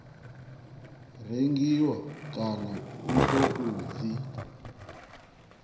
rengiwa kana u tou dzi